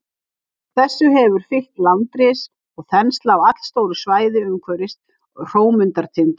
Þessu hefur fylgt landris og þensla á allstóru svæði umhverfis Hrómundartind.